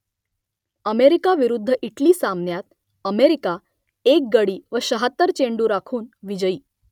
America विरुद्ध Italy सामन्यात America एक गडी व शहात्तर चेंडू राखून विजयी